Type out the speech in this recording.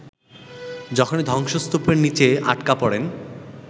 যখন ধ্বংসস্তূপের নিচে আটকা পড়েন